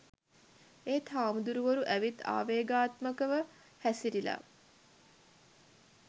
ඒත් හාමුදුරුවරු ඇවිත් ආවේගාත්මකව හැසිරිලා